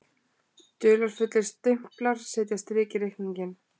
Dularfullir stimplar setja strik í reikninginn